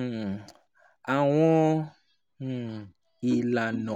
um àwọn um ìlànà